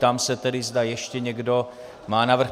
Ptám se tedy, zda ještě někdo má návrh.